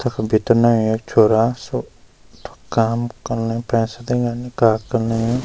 तख भीतर नय एक छोरा सब काम कन लय पैसा दीना ।